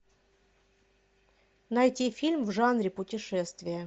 найти фильм в жанре путешествия